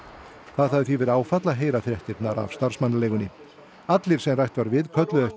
það hafi því verið áfall að heyra fréttirnar af starfsmannaleigunni allir sem rætt var við kölluðu eftir